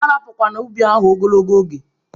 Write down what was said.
A rapukwana ubi ahụ ogologo oge!